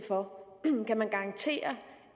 af kan man garantere